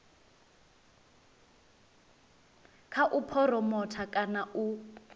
kha u phuromotha kana u